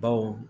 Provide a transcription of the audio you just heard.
Baw